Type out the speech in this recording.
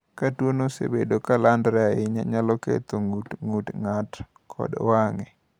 Ka tuono osebedo ka landore ahinya, nyalo ketho ng’ut, ng’ut ng’ato kod wang’e.